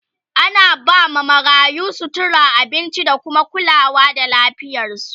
ana ba ma marayu, sutura, abinci da kuma kulawa da lafiyarsu